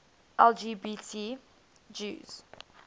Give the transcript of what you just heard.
lgbt jews